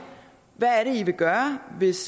hvad vil i gøre hvis